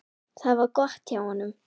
Það var gott hjá honum.